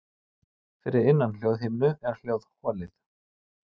Fyrir innan hljóðhimnu er hljóðholið.